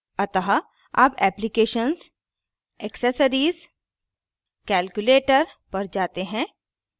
अतः अब applications applications accessories accessories calculator calculator पर जाते हैं